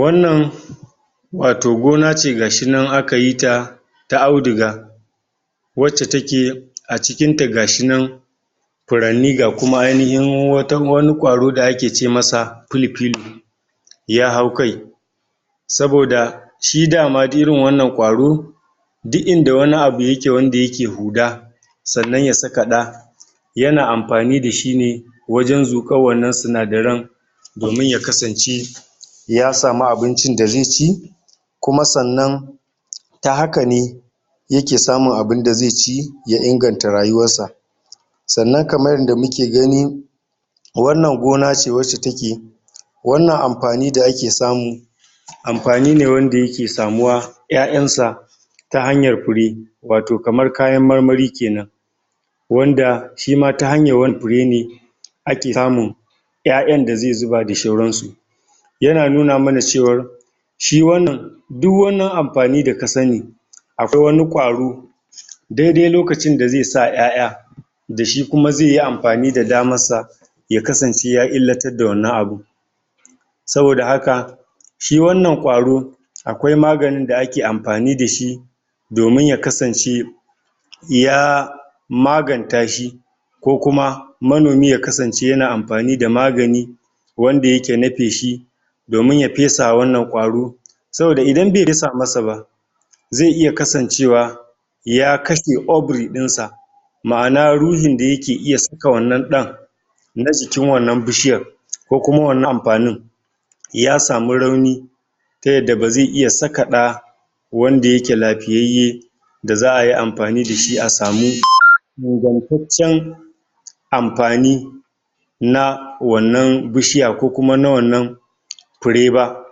Wannan wato gona ce ga shi nan aka yi ta ta auduga wacce take a cikinta ga shi nan furanni ga kuma ainihin wani ƙwaro da ake ce ma filfilo ya hau kai saboda shi da ma irin wannan ƙwaro duk inda wani abu yake wanda yake huda sannan ya saka ɗa yana amfani da shi ne wajen zuƙar wannan sinadaran domin ya kasance ya samu abincin da ze ci kuma sannan ta haka ne yake samun abin da ze ci ya inganta rayuwarsa sannan kamar yadda muke gani wannan gona ce wacce take wannan amfani da ake samu amfani ne wanda yake samuwa ƴaƴansa ta hanyar fure wato kamar kayan marmari kenan wanda shi ma ta hanyar wani fure ne ake samun ƴaƴan da ze zuba da shauransu yana nuna mana cewar shi wannan duk wannan amfani da ka sani akwai wani ƙwaro dede lokacin da ze sa ƴaƴa da shi kuma ze yi amfani da damarsa ya kasance ya illatar da wannan abun saboda haka shi wannan ƙwaro akwai maganin da ake amfani da shi domin ya kasance ya maganta shi ko kuma manomi ya kasance yana amfani da magani wanda yake na feshi domin ya fesawa wannan ƙwaro saboda idan be fesa masa ba ze iya kasancewa ka katse ovry ɗinsa ma'ana ruhin da yake iya saka wannan ɗan na jikin wannan bishiyar ko kuma wannan amfanin ya sam rauni ta yadda ba ze iya saka ɗa wanda yake lafiyayye da za a yi amfani da shi a samu ingantaccen amfani na wannan bishiya ko kuma na wannan fure ba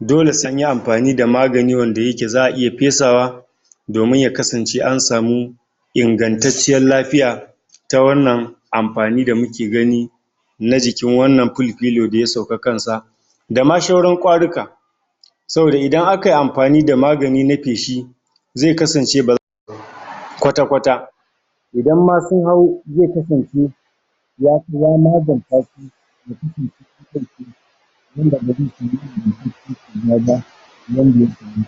dole se an yi amfani da magani wanda yake za a iya fesawa domin ya kasance an samu ingantacciyar lafiya ta wannan amfani da muke gani na jikin wannan filfilo da ya sauƙa kansa da ma shauran ƙwaruka saboda idan aka yi mafani da magani na feshi ze kasance ba za kwata-kwata idan ma sun hau ze kasance ya bi ya maganta su?? abin da ya samu kenan